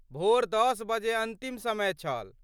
भोर दश बजे अन्तिम समय छल।